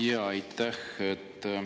Jaa, aitäh!